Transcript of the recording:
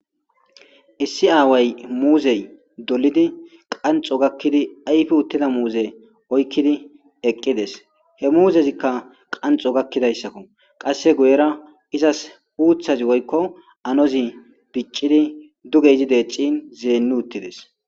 Issi away muuzey dolidi qanxo gakkidi ayfi uttida muuze oykkidi eqqides he muuzezikka qanxo gakidayssakko qasse guyera izas uuthazi woykko anozi biccidi duge zideccin zeenni uttides.